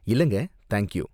இல்லங்க, thank you.